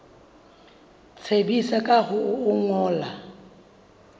tsebisa ka ho o ngolla